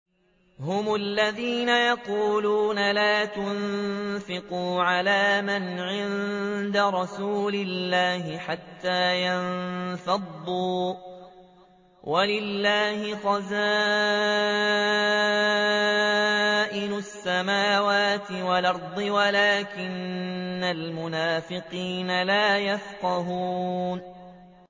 هُمُ الَّذِينَ يَقُولُونَ لَا تُنفِقُوا عَلَىٰ مَنْ عِندَ رَسُولِ اللَّهِ حَتَّىٰ يَنفَضُّوا ۗ وَلِلَّهِ خَزَائِنُ السَّمَاوَاتِ وَالْأَرْضِ وَلَٰكِنَّ الْمُنَافِقِينَ لَا يَفْقَهُونَ